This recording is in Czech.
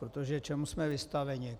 Protože čemu jsme vystaveni?